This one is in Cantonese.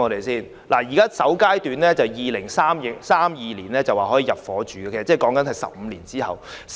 政府預計首階段的住宅單位可在2032年入伙，那是15年後的事。